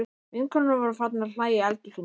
Vinkonurnar voru farnar að hlæja í eldhúsinu.